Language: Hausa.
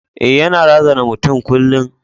E, yana razana matan kullum.